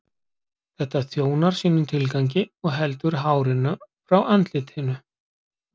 Þetta þjónar sínum tilgangi og heldur hárinu frá andlitinu.